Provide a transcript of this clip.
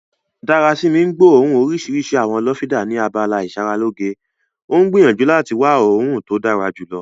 Darasimi ń gbóòórùn orísìírísìí àwọn lọ́fíńdà ni abala ìsaralóge, ó ń gbìyànjú láti wá òórùn tó dára jùlọ.